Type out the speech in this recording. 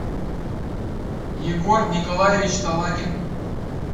егор николаевич талакин